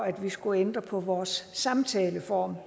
at vi skulle ændre på vores samtaleform